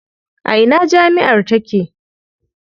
A ina jami'ar take?